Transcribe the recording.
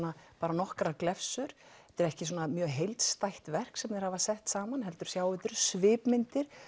nokkrar glefsur þetta er ekki mjög heildstætt verk sem þeir hafa sett saman heldur sjáum við svipmyndir